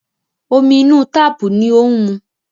Omi inú táàpù ni ó ń mu.